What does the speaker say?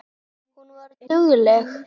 Hún var dugleg.